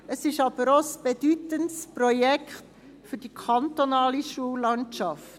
Es ist aber auch ein bedeutendes Projekt für die kantonale Schullandschaft.